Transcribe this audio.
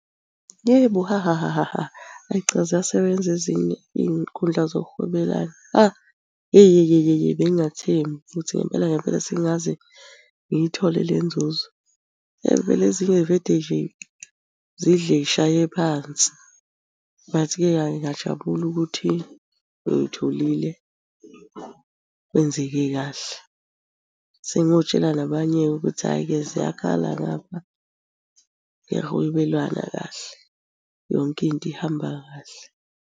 Yebo, hahahaha ayi cha ziyasebenza ezinye iy'nkundla zokuhwebelana. Ha, yeyeyeye bengingathembi ukuthi ngempela ngempela sengingaze ngiyithole le nzuzo. Vele ezinye y'vede nje zidle y'shaye phansi, but ke hhayi ngiyajabula ukuthi uy'tholile kwenzeke kahle. Sengotshela nabanye-ke ukuthi hhayi-ke ziyakhala ngaphakuyahwebelana kahle, yonke into ihamba kahle.